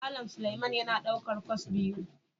Malam Suleman yana daukar kwas biyu.